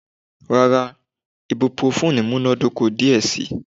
Rara, ibuprofen munadoko diẹ sii